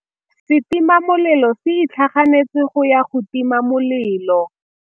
Setima molelô se itlhaganêtse go ya go tima molelô.